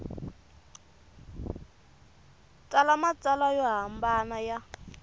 tsala matsalwa yo hambana ya